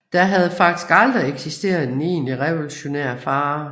Der havde faktisk aldrig eksisteret en egentlig revolutionær fare